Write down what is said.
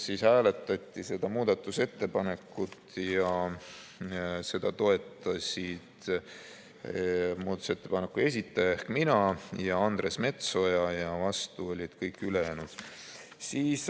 Siis hääletati seda muudatusettepanekut ja seda toetasid muudatusettepaneku esitaja ehk mina ja Andres Metsoja ning vastu olid kõik ülejäänud.